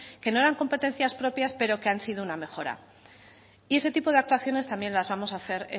que no eran competencias propias pero que han sido una mejora y ese tipo de actuaciones también las vamos a hacer